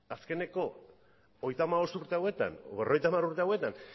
azkeneko hogeita hamabost urte hauetan edo berrogeita hamar urte hauetan